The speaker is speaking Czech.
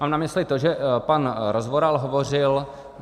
Mám na mysli to, že pan Rozvoral hovořil.